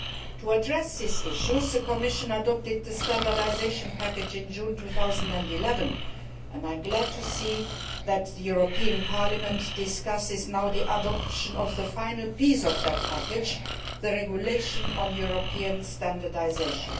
To address these issues, the Commission adopted the Standardisation Package in June 2011, and I am glad to see that the European Parliament is now discussing the adoption of the final piece of that package the regulation on European standardisation.